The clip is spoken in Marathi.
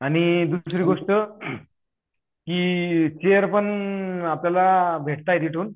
आणि दुसरी गोष्ट कि चेरपण आपल्याला भेटता आहेत तिथून